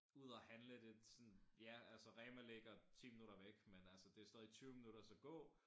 Ud og handle det sådan ja altså Rema ligger 10 minutter væk med altså det stadig 20 minutter du skal gå